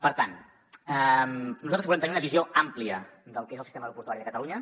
per tant nosaltres volem tenir una visió àmplia del que és el sistema aeroportuari de catalunya